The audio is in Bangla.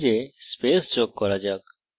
এখন ম্যাসেজে স্পেস যোগ করা যাক